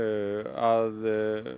að